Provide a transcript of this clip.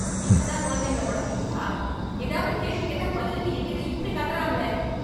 இப்படித்தான் குழந்தைங்கள வளப்பீங்களா? ஏதாவது கேள்வி கேட்டா பதிலுக்கு என்கிட்ட இப்படி கத்தறாங்களே?